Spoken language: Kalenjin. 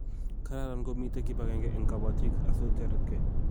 Kararan komite kibagenge eng kobotik asiotoretke